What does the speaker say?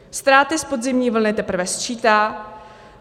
Ztráty z podzimní vlny teprve sčítá.